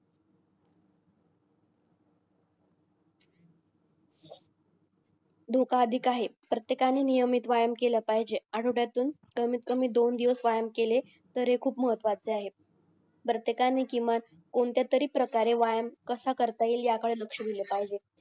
धोका अधिक आहे प्रत्येकानी नियमित व्यायाम केला पाहिजेल आठ्वडातून कमीत कमी दोन दिवस व्यायाम केले तरी खूप महत्वाचे आहे प्रत्येकानी किमान कोणत्या तरी प्रकारे व्यायाम कसा करता येईल याकडे लक्ष दिले पाहिजेल